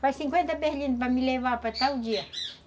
Faz cinquenta berlindas para me levar para tal dia.